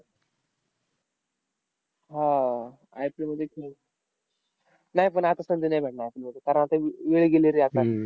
हा आह IPL मध्ये खेळून. नाय, पण आता संधी नाय भेटणार IPL मध्ये. कारण आता व वेळ गेली रे आता,